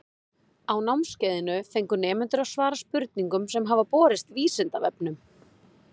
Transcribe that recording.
Á námskeiðinu fengu nemendur að svara spurningum sem hafa borist Vísindavefnum.